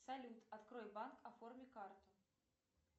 салют открой банк оформи карту